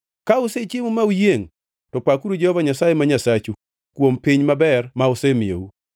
Ka usechiemo ma uyiengʼ, to pakuru Jehova Nyasaye ma Nyasachu kuom piny maber ma osemiyou.